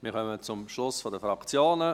Wir kommen zum Schluss der Fraktionen.